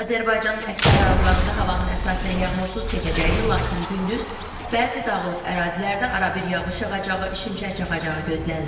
Azərbaycanın əksər rayonlarında havanın əsasən yağmursuz keçəcəyi, lakin gündüz bəzi dağlıq ərazilərdə arabir yağış yağacağı, şimşək çaxacağı gözlənilir.